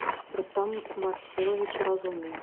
рустам марселович разумный